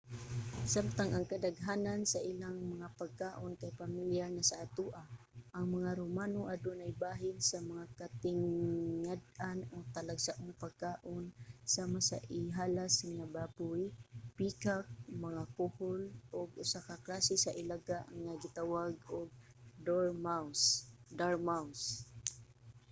samtang ang kadaghanan sa ilang mga pagkaon kay pamilyar na sa atoa ang mga romano adunay bahin sa mga katingad-an o talagsaong pagkaon sama sa ihalas nga baboy peacock mga kuhol ug usa ka klase sa ilaga nga gitawag og dormouse